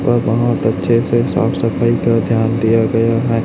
और बहोत अच्छे से साफ सफाई का ध्यान दिया गया है।